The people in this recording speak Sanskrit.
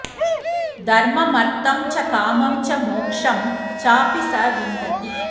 धर्ममर्थं च कामं च मोक्षं चापि स विन्दति